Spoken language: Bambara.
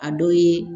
A dɔ ye